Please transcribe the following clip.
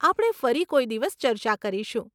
આપણે ફરી કોઈ દિવસ ચર્ચા કરીશું.